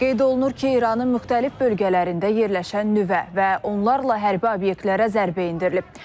Qeyd olunur ki, İranın müxtəlif bölgələrində yerləşən nüvə və onlarla hərbi obyektlərə zərbə endirilib.